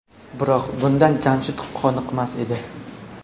Biroq bundan Jamshid qoniqmas edi.